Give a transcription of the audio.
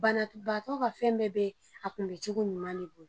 Banabaatɔ ka fɛn bɛɛ bɛ a kun bɛ cogo ɲuman de bolo.